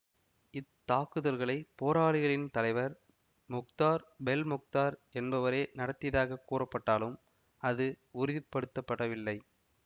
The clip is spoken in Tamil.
இத்தாக்குதல்களை போராளிகளின் தலைவர் மொக்தார் பெல்மொக்தார் என்பவரே நடத்தியதாகக் கூறப்பட்டாலும் அது உறுதிப்படுத்த படவில்லை